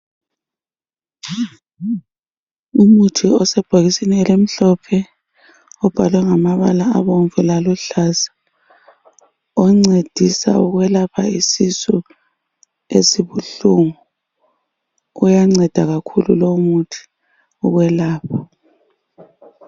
Umuthi osebhokisini elimhlophe. Ubhalwe ngamabala abomvu laluhlaza. Oncedisa ukwelapha isisu esibuhlungu. Uyanceda kakhulu lowu muthi okwelapha.